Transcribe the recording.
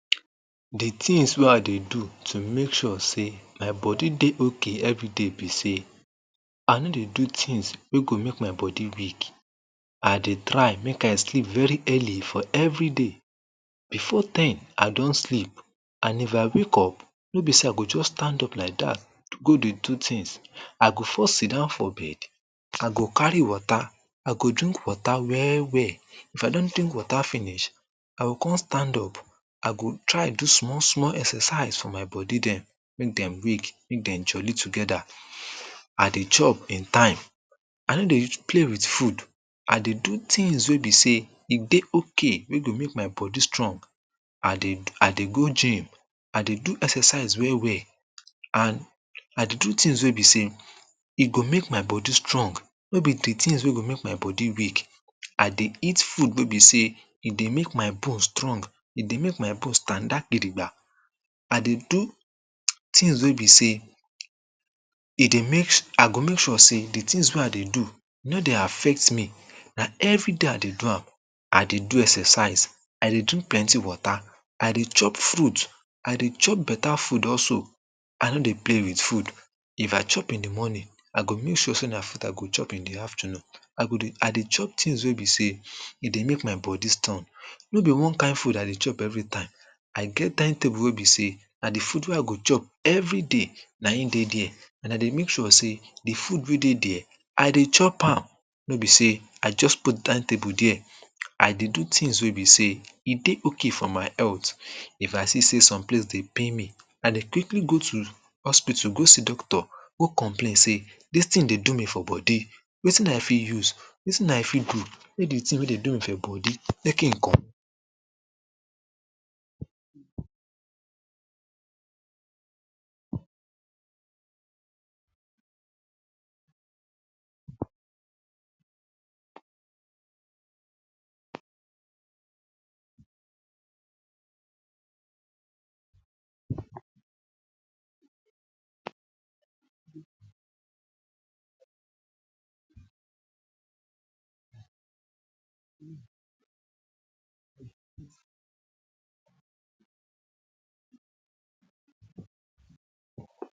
De tins wey I dey do to make sure sey my body dey okay everyday be sey I no dey do tins wey go make my body weak I dey try make I sleep very early for everyday. Before ten, I don sleep and if I wake up, no sey, I go just stand up like dat go dey do tins I go first sidown for bed I go carry water I go drink water well well if I don drink water finish I go come stand up I go try do small small exercise make dem wake, make dem jolly together I dey chop in time I no dey play wit food I dey do tins wey be sey e dey okay wey go make my body strong I dey go gym I dey do exercise well well and I dey do tins wey be sey e go make my body strong no be de tins wey go make my body weak I dey eat food wey be sey e dey make my bone strong e dey make my bone standa gidigba I dey do tins wey be say e dey make, I go make sure sey de tins wey I dey do no dey affect me na everyday I dey do am I dey do exercise I dey drink plenty water I dey chop fruits I dey chop better food also I no dey play wit food If I chop in de morning I go make sure sey na food I go chop in de afternoon I go dey, I dey chop tins wey be sey e dey make my body strong no be one kind food I dey chop everytime I get timetable wey be sey na de food wey I go chop everyday na him dey dey and I dey make sure sey de food wey dey dey I dey chop am no be sey I just put timetable dey I dey do tins wey be sey e dey okay for my health if I see sey some place dey pain me I dey quickly go to hospital go see doctor go complain sey dis tin dey do me for body wetin I fit use? wetin I fit do? make de tin wey dey do me for body make him come